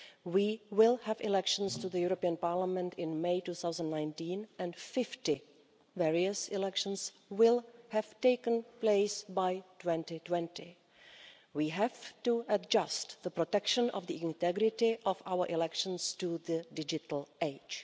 We will have elections to the European Parliament in May 2019 and 50 various elections will have taken place by 2020. We have to adjust the protection of the integrity of our elections to the digital age.